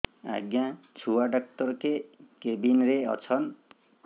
ଆଜ୍ଞା ଛୁଆ ଡାକ୍ତର କେ କେବିନ୍ ରେ ଅଛନ୍